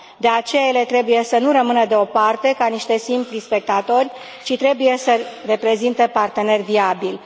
De aceea, ele trebuie să nu rămână deoparte ca niște simpli spectatori, ci trebuie să reprezinte parteneri viabili.